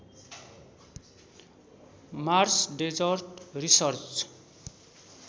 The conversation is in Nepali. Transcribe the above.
Mars desert research